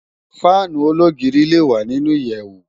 Fànú ólógiri lé wá ninú iyèwú